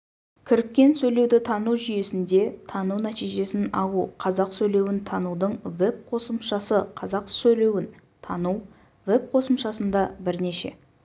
кіріккен сөйлеуді тану жүйесінде тану нәтижесін алу қазақ сөйлеуін танудың веб-қосымшасы қазақ сөйлеуін тану веб-қосымшасында бірнеше